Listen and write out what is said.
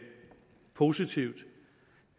positivt